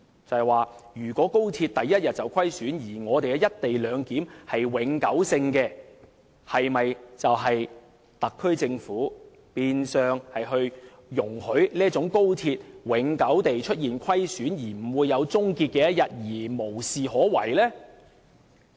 這樣，如果高鐵首天便虧損，而"一地兩檢"則是永久性，是否等於特區政府變相容許高鐵永久出現虧損，不會有終結的一天，而無事可為呢？